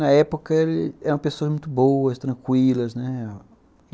Na época, eram pessoas muito boas, tranquilas, né.